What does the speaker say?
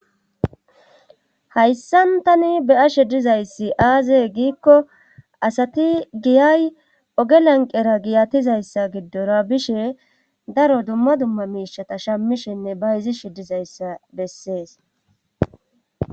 Hayssan tani beya shiddizayssi aaze giikko asati giyay oge lanqera giyatizayssa giddora bishe daro dumma dumma miishata shammishenne ba yizi shidizayssa bessees.